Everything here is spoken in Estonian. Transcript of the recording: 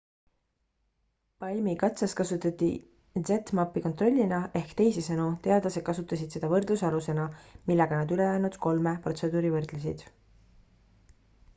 palm-i katses kasutati zmappi kontrollina ehk teisisõnu teadlased kasutasid seda võrdlusalusena millega nad ülejäänud kolme protseduuri võrdlesid